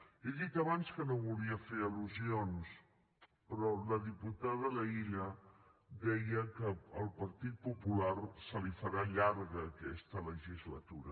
he dit abans que no volia fer al·lusions però la diputada laïlla deia que al partit popular se li farà llarga aquesta legislatura